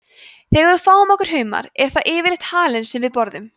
þegar við fáum okkur humar er það yfirleitt halinn sem við borðum